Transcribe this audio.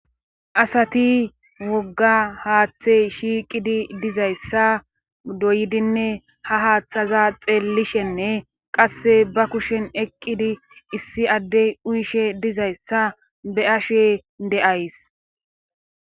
asati wogga haaththey shiiqidi dizayssa doydinne ha haaththaza xeellishenne qasse ba kushen eqqidi issi addey uyishe dizayssa be ashe de7ays